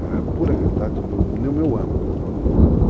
É a pura realidade do meu âmago.